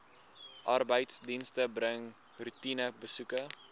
arbeidsdienste bring roetinebesoeke